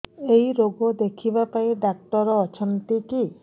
ଏଇ ରୋଗ ଦେଖିବା ପାଇଁ ଡ଼ାକ୍ତର ଅଛନ୍ତି କି